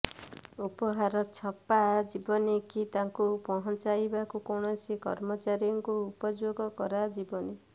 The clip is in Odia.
ଉପହାର ଛପା ଯିବନି କି ତାକୁ ପହଞ୍ଚାଇବାକୁ କୌଣସି କର୍ମଚାରୀଙ୍କୁ ଉପଯୋଗ କରାଯିବନି